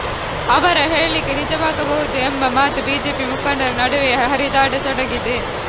ಅವರ ಹೇಳಿಕೆ ನಿಜವಾಗಬಹುದು ಎಂಬ ಮಾತು ಬಿಜೆಪಿ ಮುಖಂಡರ ನಡುವೆಯೇ ಹರಿದಾಡತೊಡಗಿದೆ